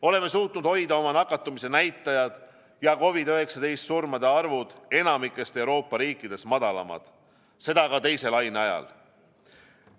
Oleme suutnud hoida oma nakatumise näitajad ja COVID-19 surmade arvud enamikust Euroopa riikidest madalamad, seda ka teise laine ajal.